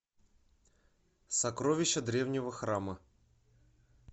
сокровища древнего храма